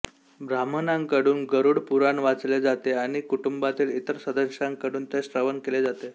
ब्राह्मणांकडून गरुड पुराण वाचले जाते आणि कुटुंबातील इतर सदस्यांकडून ते श्रवण केले जाते